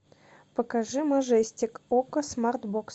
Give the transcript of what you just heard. покажи мажестик окко смарт бокс